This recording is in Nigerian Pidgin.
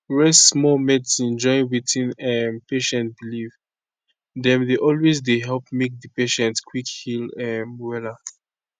rest small medicine join wetin um patient believe dem dey always dey help make di patient quick heal um wella